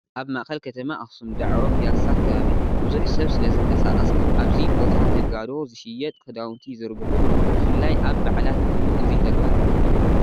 ኣብ ማእኸል ከተማ ኣኽሱም ዳዕሮ ፒያሳ ከባቢ ብዙሕ ሰብ ስለዝንቀሳቐስ ኣብዚ ቦታ ነጋዶ ዝሽየጥ ክዳውንቲ ይዝርግሑሉ፡፡ ብፍላይ ኣብ በዓላት እዋን እዚ ተግባር ልሙድ እዩ፡፡